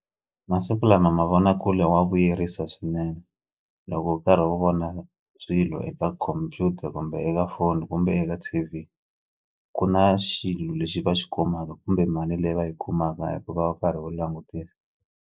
Masiku lama mavonakule wa vuyerisa swinene loko u karhi wo vona swilo eka khompyuta kumbe eka phone kumbe eka T_V ku na xilo lexi va xi kumaka kumbe mali leyi va yi kumaka hikuva u karhi u langutisa.